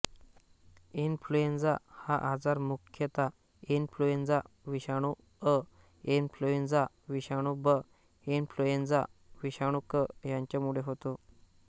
influenza हा आजार मुख्यतः इन्फ्लुएंझा विषाणू अ इन्फ्लुएंझा विषाणू ब इन्फ्लुएंझा विषाणू क यांच्यामुळे होतो